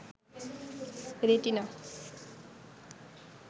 retina